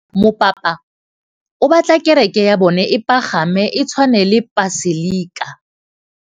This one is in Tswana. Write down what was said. Mopapa o batla kereke ya bone e pagame, e tshwane le paselika.